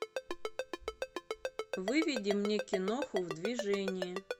выведи мне киноху в движении